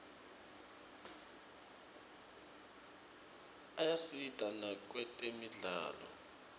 ayasita nakwetemidlalo